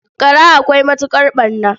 Gara akwai matuƙar ɓarna.